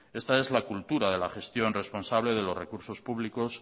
esta es la cultura de la gestión responsable de los recursos públicos